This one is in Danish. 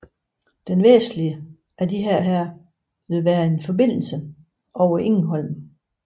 Den vestligste af disse vil være en forbindelse over Egholm